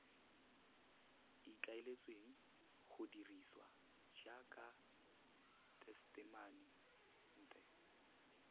ikaeletsweng go dirisiwa jaaka tesetamente